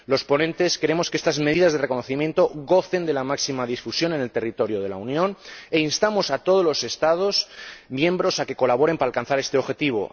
Los ponentes queremos que estas medidas de reconocimiento gocen de la máxima difusión en el territorio de la Unión, e instamos a todos los Estados miembros a que colaboren para alcanzar este objetivo.